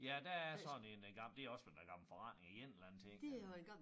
Ja der er sådan en øh det også den der gamle forretning i en eller anden ting ja